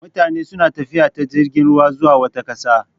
Mutane suna tafiya ta jirgin ruwa zuwa wata ƙasa.